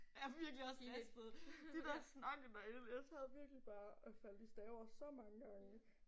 Jeg virkelig også ristet. De der snakke derinde jeg sad virkelig bare og faldt i staver så mange gange